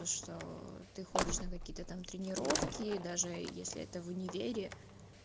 потому что ты ходишь на какие-то там тренировки даже если это в универе